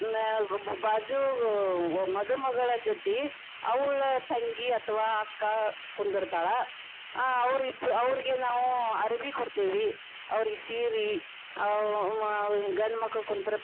ಹ್ಮ್ ಬಾಜು ಮಧುಮಗಳ ಜೊತಿ ಅವಳ ತಂಗಿ ಅಥವಾ ಅಕ್ಕಾ ಕುಂದರತಾಳ ಆ ಅವ್ರಿಬ್ರು ಅವ್ರಗೆ ನಾವು ಅರಭಿ ಕೊಡ್ತೇವಿ ಅವರೀಗ ಸಿರೀ ಅವ ಗಂಡ ಮಕ್ಕಳ ಕುಂತಿರೆ.